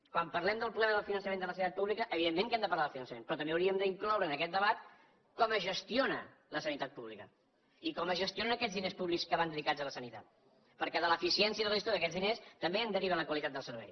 quan parlem del problema del finançament de la sanitat pública evidentment que hem de parlar del finançament però també hauríem d’incloure en aquest debat com es gestiona la sanitat pública i com es gestionen aquells diners públics que van dedicats a la sanitat perquè de l’eficiència de la gestió d’aquests diners també en deriva la qualitat del servei